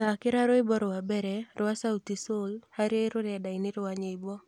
thakĩra rwĩmbo rwa mbere rwa sautisol harĩ rũrendainĩ rwa nyĩmbo